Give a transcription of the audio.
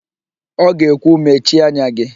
Ọ ga-ekwu, "mechie anya gị"!